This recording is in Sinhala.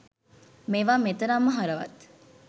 මේවා මෙතරම්ම හරවත්